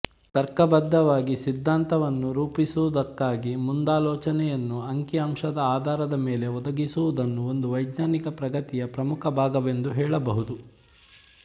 ತರ್ಕಬದ್ಧವಾಗಿ ಸಿದ್ದಾಂತವನ್ನು ರೂಪಿಸುವುದಕ್ಕಾಗಿ ಮುಂದಾಲೋಚನೆಯನ್ನು ಅಂಕಿಅಂಶದ ಆಧಾರದ ಮೇಲೆ ಒದಗಿಸುವುದನ್ನು ಒಂದು ವೈಜ್ಞಾನಿಕ ಪ್ರಗತಿಯ ಪ್ರಮುಖ ಭಾಗವೆಂದು ಹೇಳಬಹುದು